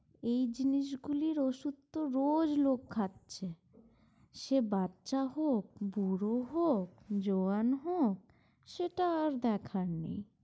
এই জিনিস গুলির ওষুধ তো রোজ লোক খাচ্ছে। সে বাচ্চা হোক, বুড়ো হোক, জোয়ান হোক, সেটা আর দেখার নেই।